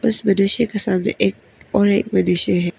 इस विदेशी के सामने एक और एक विदेशी है।